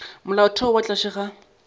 ya molaotheo ka tlase ga